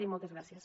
i moltes gràcies